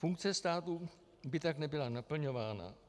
Funkce státu by tak nebyla naplňována.